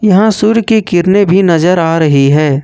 बानसूर की किडनी भी नजर आ रही है।